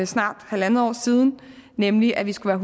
snart halvandet år siden nemlig at vi skulle